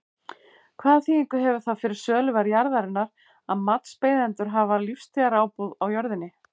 Hvaða þýðingu hefur það fyrir söluverð jarðarinnar að matsbeiðendur hafa lífstíðarábúð á jörðinni?